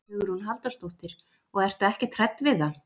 Hugrún Halldórsdóttir: Og ertu ekkert hrædd við það?